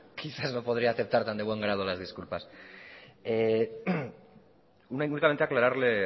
quizás no podría aceptar tan de buen grado las disculpas únicamente aclararle